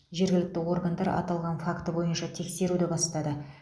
жергілікті органдар аталған факті бойынша тексеруді бастады